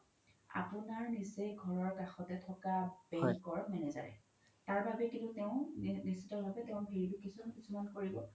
আপোনাৰ নিচে ঘৰৰ কাখতে থকা bank ৰ manager য়ে তাৰ বাবে কিন্তু তেও নিশ্ত ভাবে কিছুমান verification কৰিব